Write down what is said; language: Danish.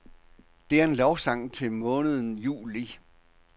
Det er en lovsang til måneden juli.